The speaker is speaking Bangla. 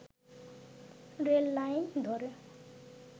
রেল লাইন ধরে